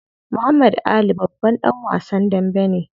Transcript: Muhammad Ali babban dan wasan dambe ne.